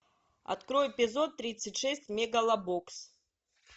открой эпизод тридцать шесть мегалобокс